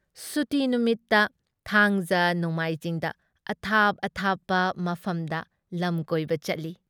ꯁꯨꯇꯤ ꯅꯨꯃꯤꯠꯇ ꯊꯥꯡꯖ ꯅꯣꯡꯃꯥꯏꯖꯤꯡꯗ ꯑꯊꯥꯞ ꯑꯊꯥꯞꯄ ꯃꯐꯝꯗ ꯂꯝꯀꯣꯏꯕ ꯆꯠꯂꯤ ꯫